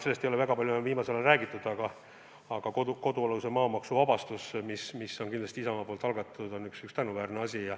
Sellest ei ole viimasel ajal enam väga palju räägitud, aga kodualuse maa maksuvabastus, mis oli kindlasti Isamaa algatatud, on üks tänuväärne asi.